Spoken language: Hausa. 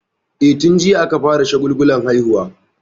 E, tun jiya aka fara shagulgulan haihuwa.